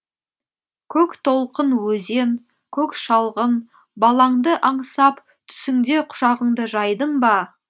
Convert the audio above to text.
көктолқын өзен көк шалғын балаңды аңсап түсіңде құшағыңды жайдың ба